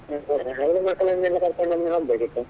ಮಕ್ಳನ್ನೆಲ್ಲ ಕರ್ಕೊಂಡು ಒಮ್ಮೆ ಹೋಗ್ಬೇಕಿತ್ತು.